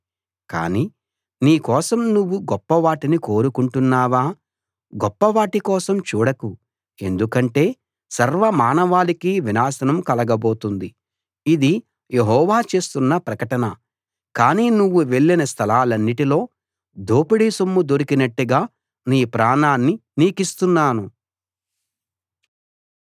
కానీ నీ కోసం నువ్వు గొప్ప వాటిని కోరుకుంటున్నావా గొప్ప వాటి కోసం చూడకు ఎందుకంటే సర్వ మానవాళికీ వినాశనం కలుగబోతుంది ఇది యెహోవా చేస్తున్న ప్రకటన కానీ నువ్వు వెళ్ళిన స్థలాలన్నిటిలో దోపిడీ సొమ్ము దొరికినట్టుగా నీ ప్రాణాన్ని నీకిస్తున్నాను